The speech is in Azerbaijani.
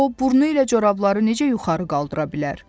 O burnu ilə corabları necə yuxarı qaldıra bilər?